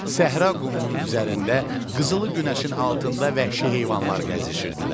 Səhra qumunun üzərində qızılı günəşin altında vəhşi heyvanlar gəzişirdilər.